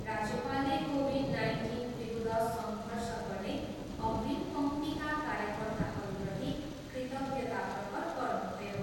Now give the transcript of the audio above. राज्यपालले कोभिड नाइन्टिनविरुद्ध सङ्घर्ष गर्ने अग्रिम पङ्क्तिका कार्यकर्ताहरूप्रति कृतज्ञता प्रकट गर्नुभयो।